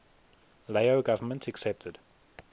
lao government accepted